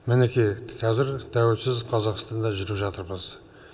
мінекей қазір тәуелсіз қазақстанда жүріп жатырмыз